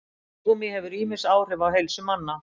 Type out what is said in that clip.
Tyggigúmmí hefur ýmis áhrif á heilsu manna.